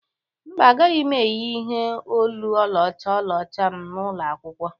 mba, A gaghị m eyị ihe olu ọlaọcha ọlaọcha m n'ụlọ akwụkwọ